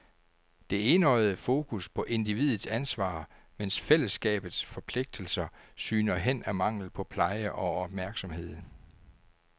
Det enøjede fokus på individets ansvar, mens fællesskabets forpligtelser sygner hen af mangel på pleje og opmærksomhed.